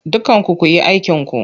Dukkanku ku yi aikinku!